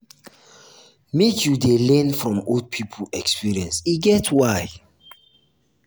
um make you dey learn from old pipo experience e get why.